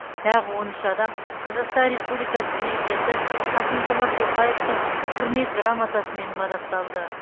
тағы он үш адам қазақстан республикасы президенті қасым жомарт тоқаевтың құрмет грамотасымен мадақталды